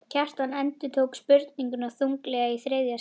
Kjartan endurtók spurninguna þunglega í þriðja sinn.